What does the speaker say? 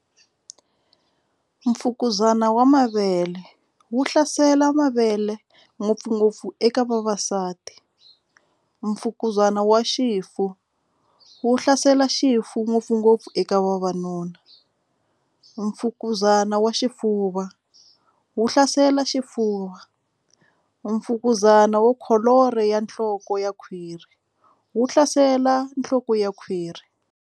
Mfukuzana wa mavele wu hlasela mavele ngopfungopfu eka vavasati mfukuzana wa xifu wu hlasela xifuwo ngopfungopfu eka vavanuna mfukuzana wa xifuva wu hlasela xifuva mfukuzana wo kholoro ya nhloko ya khwiri wu hlasela nhloko ya khwiri.